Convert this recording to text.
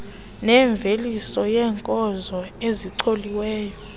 nemveliso yeenkozo ezicoliweyo